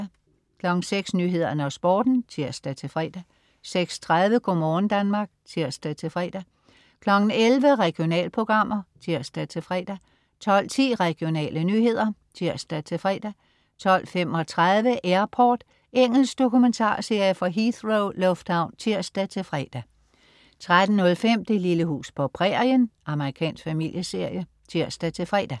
06.00 Nyhederne og Sporten (tirs-fre) 06.30 Go' morgen Danmark (tirs-fre) 11.00 Regionalprogrammer (tirs-fre) 12.10 Regionale nyheder (tirs-fre) 12.35 Airport. Engelsk dokumentarserie fra Heathrow lufthavn (tirs-fre) 13.05 Det lille hus på prærien. Amerikansk familieserie (tirs-fre)